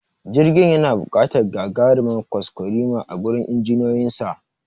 Jirgin yana buƙatar gagarimar kwaskwarima a gurin injiniyoyinsa